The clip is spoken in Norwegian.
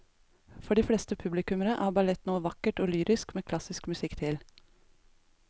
For de fleste publikummere er ballett noe vakkert og lyrisk med klassisk musikk til.